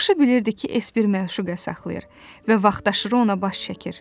Yaxşı bilirdi ki, E-s bir məşuqə saxlayır və vaxtaşırı ona baş çəkir.